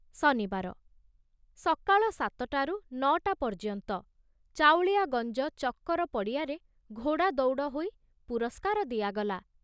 ଶନିବାର, ସକାଳ ସାତଟାରୁ ନ ଟା ପର୍ଯ୍ୟନ୍ତ ଚାଉଳିଆଗଂଜ ଚକ୍କର ପଡ଼ିଆରେ ଘୋଡ଼ା ଦୌଡ଼ ହୋଇ ପୁରସ୍କାର ଦିଆଗଲା।